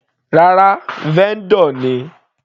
Rárá, vendor ni.